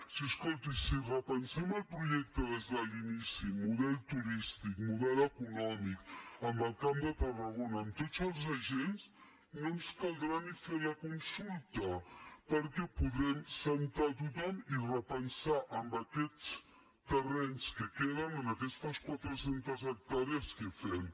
si escolti si repensem el projecte des de l’inici model turístic model econòmic amb el camp de tarragona amb tots els agents no ens caldrà ni fer la consulta perquè podrem asseure a tothom i repensar amb aquests terrenys que queden amb aquestes quatre centes hectàrees què fem